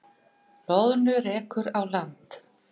Loðnu rekur á land